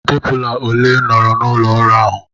Stepụla ole nọọrọ n'ụlọ ọrụ ahụ?